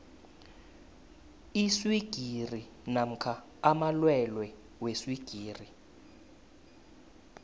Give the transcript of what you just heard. iswigiri namkha amalwelwe weswigiri